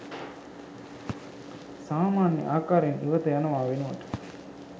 සාමාන්‍ය ආකාරයෙන් ඉවත යනවා වෙනුවට